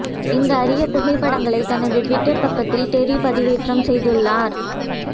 இந்த அரிய புகைப்படங்களைத் தனது டுவிட்டர் பக்கத்தில் டெர்ரி பதிவேற்றம் செய்துள்ளார்